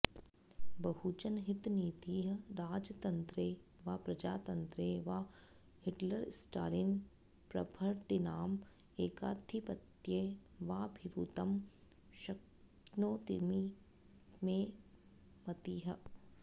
बहुजनहितनीतिः राजतन्त्रे वा प्रजातन्त्रे वा हिटलरस्टालिन् प्रभृतीनां ऐकाधिपत्ये वा भवितुं शक्नोतीति मे मतिः